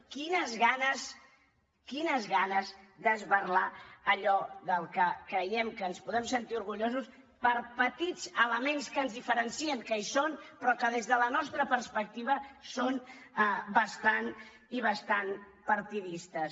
quines ganes quines ganes d’esberlar allò del que creiem que ens podem sentir orgullosos per petits elements que ens diferencien que hi són però que des de la nostra perspectiva són bastant i bastant partidistes